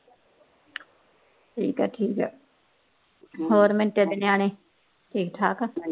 ਹੋਰ ਮਿਟੇ ਦੇ ਨਿਆਣੇ ਠੀਕ ਠਾਕ ਆ